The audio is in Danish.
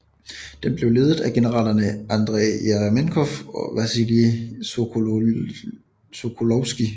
Den blev ledet af generalerne Andrej Jeremenko og Vasilij Sokolovskij